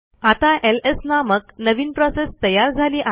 आता एलएस नामक नवीन प्रोसेस तयार झाली आहे